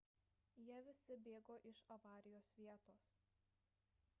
jie visi bėgo iš avarijos vietos